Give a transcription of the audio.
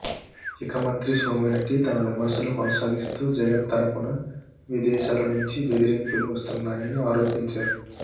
ఇక మంత్రి సోమిరెడ్డి తన విమర్శలు కొనసాగిస్తూ జగన్ తరపున విదేశాల నుంచి బెదిరింపులు వస్తున్నాయని ఆరోపించారు